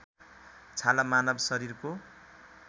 छाला मानव शरीरको